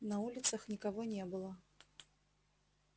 на улицах никого не было